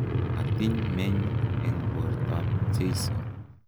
Matiny meny eng bortoab Jeiso.